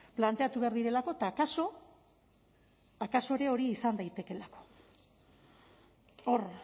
planteatu behar direlako eta akaso akaso ere hori izan daitekeela hor